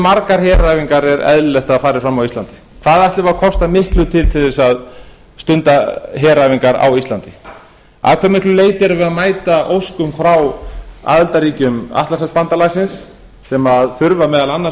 margar heræfingar er eðlilegt að fari fram á íslandi hvað ætlum við að kosta miklu til til þess að stunda heræfingar á íslandi að hve miklu leyti erum við að mæta óskum frá aðildarríkjum atlantshafsbandalagsins sem þurfa meðal annars